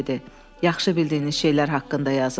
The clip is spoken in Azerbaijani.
"Yaxşı bildiyiniz şeylər haqqında yazın."